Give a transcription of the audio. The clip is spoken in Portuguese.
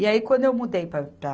E aí quando eu mudei pa para